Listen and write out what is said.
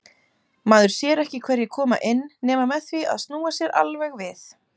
Maður sér ekki hverjir koma inn nema með því að snúa sér alveg við.